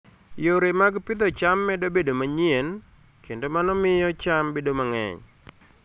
Yore mag pidho cham medo bedo manyien, kendo mano miyo cham bedo mang'eny.